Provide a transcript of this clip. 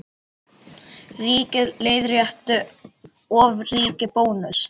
Ríkið leiðrétti ofríki Bónuss